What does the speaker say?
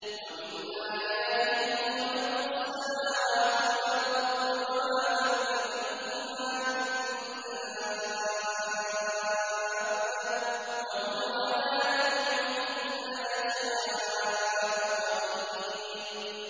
وَمِنْ آيَاتِهِ خَلْقُ السَّمَاوَاتِ وَالْأَرْضِ وَمَا بَثَّ فِيهِمَا مِن دَابَّةٍ ۚ وَهُوَ عَلَىٰ جَمْعِهِمْ إِذَا يَشَاءُ قَدِيرٌ